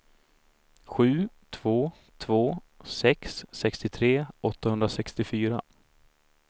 sju två två sex sextiotre åttahundrasextiofyra